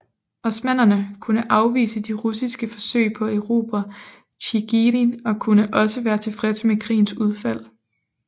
Osmannerne kunne afvise de russiske forsøg på at erobre Tjigirin og kunne også være tilfredse med krigens udfald